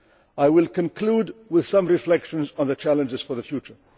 I will conclude with some reflections on the challenges for the future.